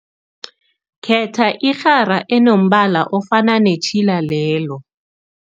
Khetha irhara enombala ofana netjhila lelo.